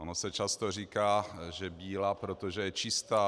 Ono se často říká, že bílá, protože je čistá.